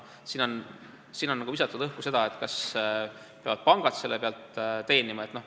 Siin on visatud õhku küsimus, et kas pangad peavad nende pealt teenima.